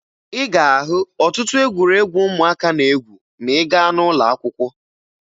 Ị ga-ahụ ọtụtụ egwuregwu ụmụaka na-egwu ma ị gaa n'ụlọakwụkwọ